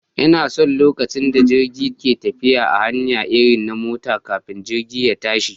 Ina son lokacin da jirgi ke tafiya a hanya irin na mota kafin jirgi ya tashi